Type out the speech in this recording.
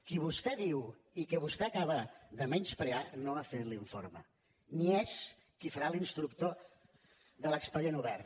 qui vostè diu i a qui vostè acaba de menysprear no ha fet l’informe ni és qui farà la instrucció de l’expedient obert